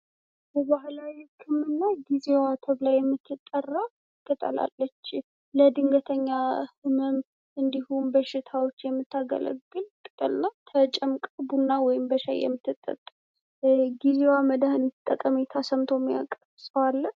የባህላዊ ህክምና ጊዜዋ ተብላ የምትጠራ ቅጠል አለች። ለድንገተኛ ህመም እንድሆን በሽታዎች የምታገለግል ቅጠልናት። ተጨምቃ በቡና ወይም በሻይ የምትጠጣ ናት። ስለጊዜዋ መድሃኒት ጠቀሜታ ሰምቶ የሚያውቅ ሰው አለ?